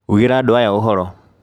Ugĩra andũ aya ũhoro.